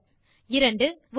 error 1